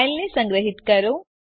ફાઈલને સંગ્રહીત કરો